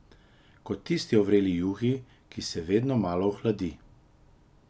Kot tisto o vreli juhi, ki se vedno malo ohladi.